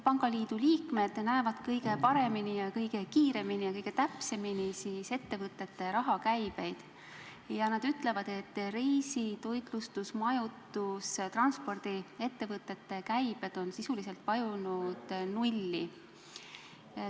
Pangaliidu liikmed näevad kõige paremini, kõige kiiremini ja kõige täpsemini ettevõtete rahakäivet ning nad ütlevad, et reisi-, toitlustus-, majutus- ja transpordiettevõtete käive on vajunud sisuliselt nulli.